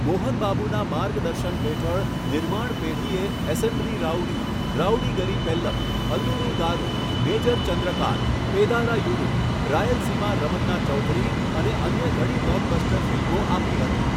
મોહન બાબુના માર્ગદર્શન હેઠળ, નિર્માણ પેઢીએ 'assembly rowdy', 'Rowdy Gari Pellam', 'Alludu Garu', 'major Chandrakanth', 'Pedarayudu', 'Rayalaseema Ramanna Chowdary' અને અન્ય ઘણી બ્લોકબસ્ટર ફિલ્મો આપી હતી.